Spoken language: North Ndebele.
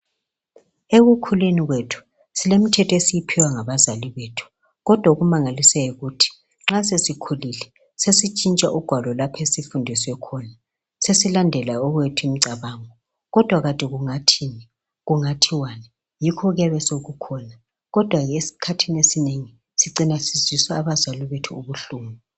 Ekukhuleni kwethu silemithetho esiyiphiwa ngabazalii bethu kodwa okumangalisayo yikut nxa sesikhulile sesitshintsha ugwalo lapho esifundiswe khona sesilandela owethu imicabango kodwa kungathin thiwani yikho okuyabe sekukhona kodwa eskhathin esinengi sicina sizwisa abazali bethu ubuhlungu